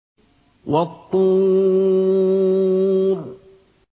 وَالطُّورِ